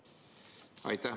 Aitäh!